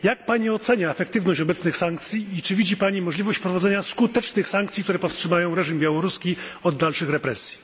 Jak Pani ocenia efektywność obecnych sankcji i czy widzi Pani możliwość wprowadzenia skutecznych sankcji, które powstrzymają białoruski reżim od dalszych represji?